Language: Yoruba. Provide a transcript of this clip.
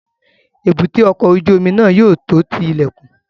Èbúté ọkọ̀ ojú omi náà yóò tó ti ilẹ̀kùn